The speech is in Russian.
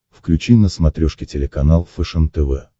включи на смотрешке телеканал фэшен тв